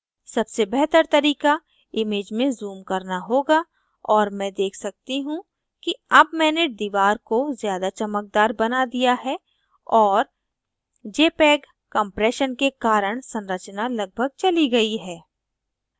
सबसे बेहतर तरीका image में ज़ूम करना होगा और मैं देख सकती हूँ कि अब मैंने दीवार को ज़्यादा चमकदार बना दिया है और jpeg compression के कारण संरचना लगभग चली गयी है